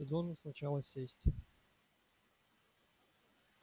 ты должен сначала сесть